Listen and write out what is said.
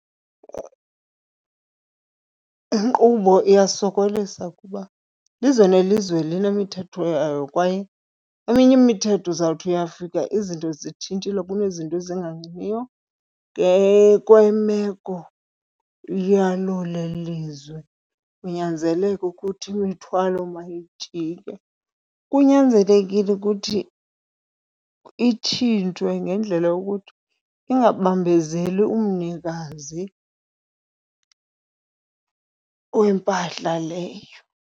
Inkqubo iyasokolisa kuba ilizwe nelizwe linemithetho yayo kwaye eminye imithetho uzawuthi uyafika izinto zitshintshile kunezinto ezingalungiyo ngekwemeko yalolelizwe. Kunyanzeleke ukuthi imithwalo mayijike. Kunyanzelekile ukuthi itshintshwe ngendlela yokuthi ingabambezeli umnikazi wempahla leyo.